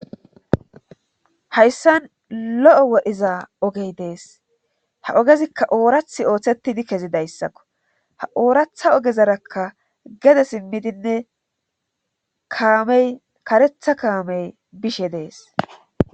hayssan lo7o wodhiza ogey dees ha ogezikka oorathi ooththettidi kezidayssakko ha ooratha ogezarakka gede simmidinne kaamey karetha kaamey bishe dees